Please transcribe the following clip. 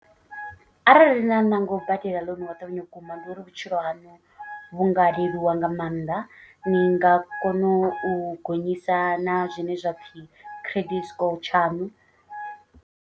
Arali na ṋanga u badela ḽounu wa ṱavhanya vhukuma ndi uri vhutshilo haṋu vhu nga leluwa nga maanḓa. Ni nga kono u gonyisa na zwine zwapfhi credit score tshaṋu.